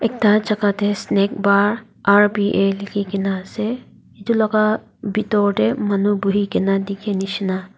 Ekta jaka dae Snack Bar R_B_A lekhkena ase etu laga bethor dae manu buhui kena dekhe neshina.